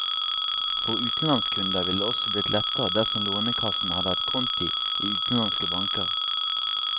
For utenlandskunder ville det også blitt lettere dersom lånekassen hadde hatt konti i utenlandske banker.